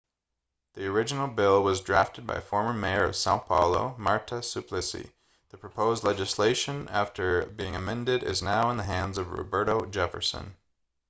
the original bill was drafted by former mayor of são paulo marta suplicy. the proposed legislation after being amended is now in the hands of roberto jefferson